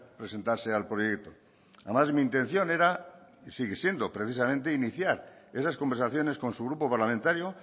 presentarse al proyecto además mi intención era y sigue siendo precisamente iniciar esas conversaciones con su grupo parlamentario